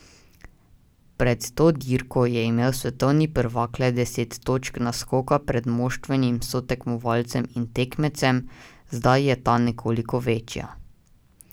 Pred to dirko je imel svetovni prvak le deset točk naskoka pred moštvenim sotekmovalcem in tekmecem, zdaj je ta nekoliko večja.